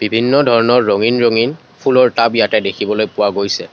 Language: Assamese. বিভিন্ন ধৰণৰ ৰঙীন ৰঙীন ফুলৰ টাব ইয়াতে দেখিবলৈ পোৱা গৈছে।